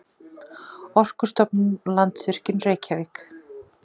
Orkustofnun og Landsvirkjun, Reykjavík.